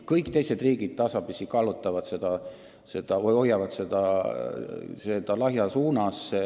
Kõik teised riigid hoiavad või tasapisi kallutavad tarbimist lahja suunas.